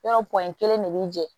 Yɔrɔ kelen de bi jɛ